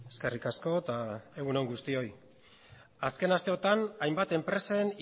eskerrik asko eta egunon guztioi azken asteotan hainbat enpresen